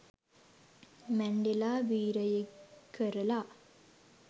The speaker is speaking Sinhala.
මැන්ඩෙලා වීරයෙක් ක‍රල